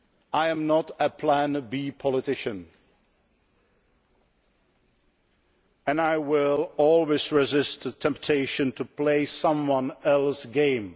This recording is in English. I am not a Plan B politician and I will always resist the temptation to play someone else's game.